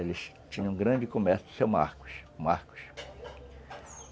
Eles tinham um grande comércio com o seu Marcos.